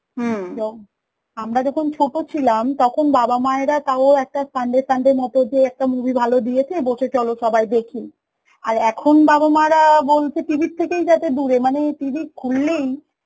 আমরা যখন ছোট ছিলাম তখন বাবা মায়েরা তাও একটা sunday sunday মত যে একটা movie ভালো দিয়েছে, বসে চল সবাই দেখি, আর এখন বাবা-মারা বলছে TV র থেকেই যাতে দুরে, TV খুললেই